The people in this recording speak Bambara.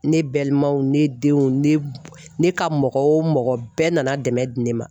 Ne balimaw, ne denw ,ne ne ka mɔgɔ o mɔgɔ ,bɛɛ nana dɛmɛ di ne ma.